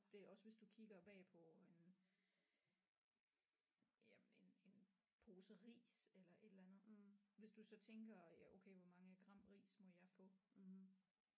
Det er også hvis du kigger bagpå en jamen en en pose ris eller et eller andet hvis du så tænker ja okay hvor mange gram ris må jeg få